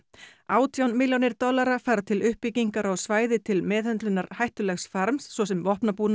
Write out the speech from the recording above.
átján milljónir dollara fara til uppbyggingar á svæði til meðhöndlunar hættulegs farms svo sem